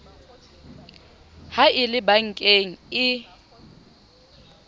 ha e le bankeng e